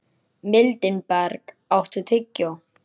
Mildinberg, áttu tyggjó?